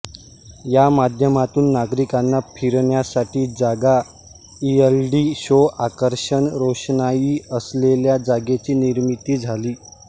या माध्यमातून नागरिकांना फिरण्यासाठी जागा एलइडी शो आकर्षक रोषणाई असलेल्या जागेची निर्मिती झाली